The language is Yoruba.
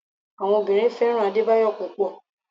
Àwọn obìnrin fẹ́ràn Adebayo púpò.